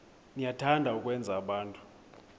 niyathanda ukwenza abantu